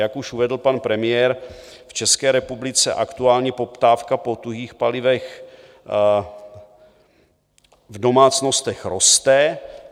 Jak už vedl pan premiér, v České republice aktuálně poptávka po tuhých palivech v domácnostech roste.